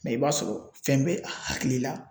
Mɛ i b'a sɔrɔ fɛn be a hakili la